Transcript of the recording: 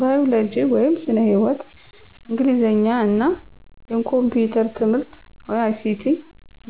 ባዮሎጂ (ስነ-ህይዎት)፣ እንግሊዘኛ እና የኮምፒዩተር ትምህርት(ICT)